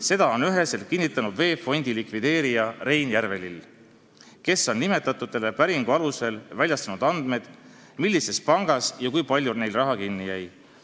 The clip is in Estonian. Seda on üheselt kinnitanud VEB Fondi likvideerija Rein Järvelill, kes on nimetatutele päringu alusel väljastanud andmed, millises pangas ja kui palju neil raha kinni jäi.